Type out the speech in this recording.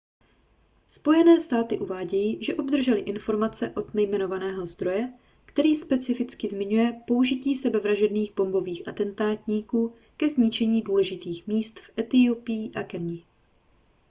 spojené státy uvádějí že obdržely informaci od nejmenovaného zdroje který specificky zmiňuje použití sebevražedných bombových atentátníků ke zničení důležitých míst v etiopii a keni